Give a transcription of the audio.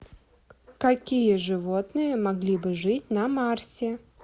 какие животные могли бы жить на марсе